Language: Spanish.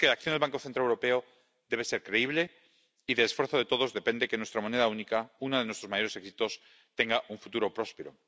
Y es que la acción del Banco Central Europeo debe ser creíble, y del esfuerzo de todos depende que nuestra moneda única, uno de nuestros mayores éxitos, tenga un futuro próspero.